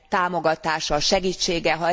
támogatása, segítsége.